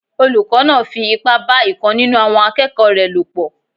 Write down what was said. Olùkọ́ náà fi ipá bá ìkan nínú àwọn akẹ́kọ̀ọ́ rẹ̀ lò pọ̀